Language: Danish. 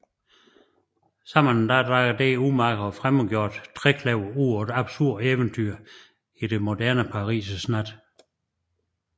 Sammen drager dette umage og fremmedgjordte trekløver ud på et absurd eventyr i det moderne Paris nat